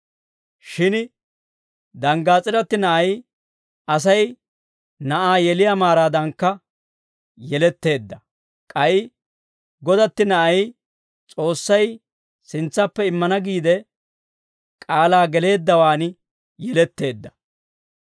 Shin danggaas'iratti na'ay Asay na'aa yeliyaa maaraadankka yeletteedda; k'ay godatti na'ay, S'oossay sintsappe immana giide k'aalaa geleeddawaan yeletteedda.